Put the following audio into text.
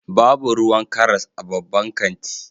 Babu ruwan karas a babban kanti